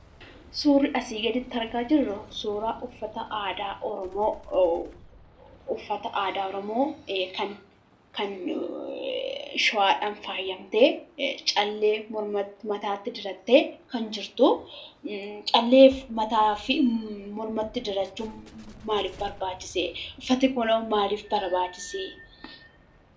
Suurri asii gaditti argaa jirru, suuraa uffata aadaa oromoo kan Shawaadhaan faayyamtee callee mormatti diratte kan jirtuu callee mataa fi mormatti dirachuu maaliif barbaachise? Uffanni kunoo maaliif barbaachise?